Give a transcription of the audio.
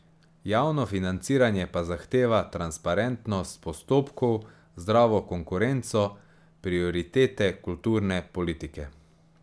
Javno financiranje pa zahteva transparentnost postopkov, zdravo konkurenco, prioritete kulturne politike.